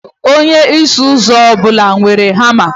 Onye ọsụ ụzọ ọ bụla nwere hama.